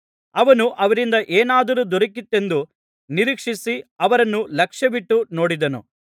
ಅವನು ಅವರಿಂದ ಏನಾದರೂ ದೊರಕೀತೆಂದು ನಿರೀಕ್ಷಿಸಿ ಅವರನ್ನು ಲಕ್ಷ್ಯವಿಟ್ಟು ನೋಡಿದನು